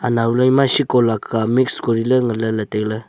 nao laima shiko laka mix kori ley ley ngan ley ley tailey.